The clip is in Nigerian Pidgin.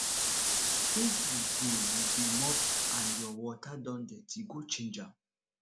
if you dey you dey mop and your water don dirty go change am